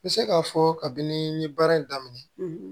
N bɛ se k'a fɔ kabini n ye baara in daminɛ